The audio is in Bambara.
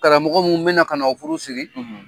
Karamɔgɔ mun bɛna ka na o furu siri